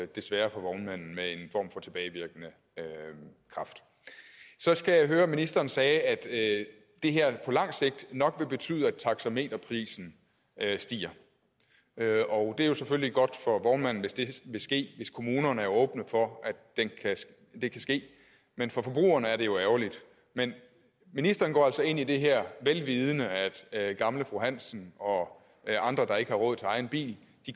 det sker for vognmanden med en form for tilbagevirkende kraft så skal jeg høre ministeren sagde at det her på lang sigt nok vil betyde at taxameterprisen stiger og det er selvfølgelig godt for vognmanden hvis det vil ske hvis kommunerne er åbne for at det kan ske men for forbrugerne er det jo ærgerligt men ministeren går altså ind i det her vel vidende at gamle fru hansen og andre der ikke har råd til egen bil